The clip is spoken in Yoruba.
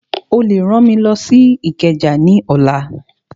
Ó lè rán mi lọ sí Ìkẹjà ní ọ̀la